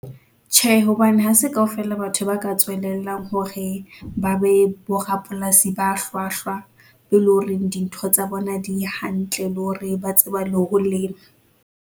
Tjhe, hobane hase kaofela batho ba ka tswelellang hore ba be borapolasi ba hlwahlwa, eleng hore dintho tsa bona di hantle, le hore ba tseba le ho lema.